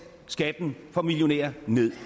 skatten for millionærer ned